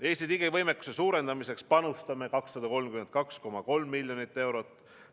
Eesti digivõimekuse suurendamiseks panustame 232,3 miljonit eurot.